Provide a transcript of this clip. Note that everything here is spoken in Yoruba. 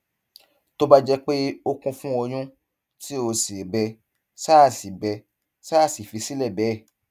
tó bá jẹ pé ó kún fún ọyún tí ó sì bẹ ṣáà sì bẹ ṣáà fi sílẹ bẹẹ